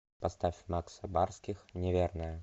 поставь макса барских неверная